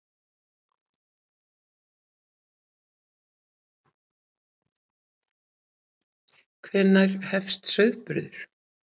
Hvenær hefst sauðburður?